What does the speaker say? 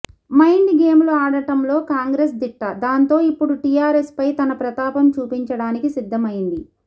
mind game లు ఆడటంలో కాంగ్రెస్ దిట్ట దాంతో ఇప్పుడు టీఆర్ఎస్ పై తన ప్రతాపం చూపించడానికి సిద్దం అయ్యింది